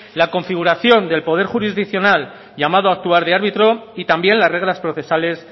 la configuración de poder jurisdiccional llamado actuar de árbitro y también las reglas procesales